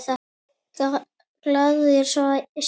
Glaðir Svíar.